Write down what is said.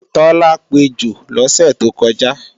Tọ́lá pejò lọ́sẹ̀ tó kọjá